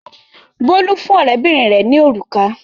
Bólú fún ọ̀rẹ́bìnrin rẹ̀ ní òrùka.